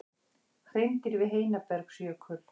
Hreindýr við Heinabergsjökul.